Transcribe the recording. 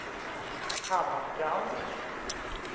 Hammarstrand